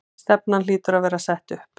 Stefnan hlýtur að vera sett upp?